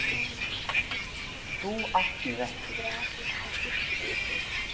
Þú átt mig ekki.